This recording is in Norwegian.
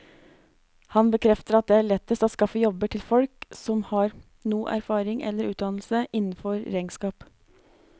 Han bekrefter at det er lettest å skaffe jobber til folk som har noe erfaring eller utdannelse innenfor regnskap.